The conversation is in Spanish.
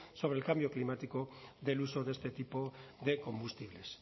sobre el cambio climático del uso de este tipo de combustibles